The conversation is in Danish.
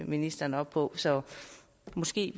ministeren op på så måske